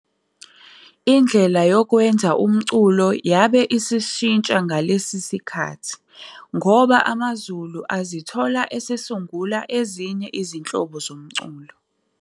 indlela yokwenza umculo yabe isishintsha ngalesi sikhathi ngoba amaZulu azithola esesungula ezinye izinhlobo zomculo.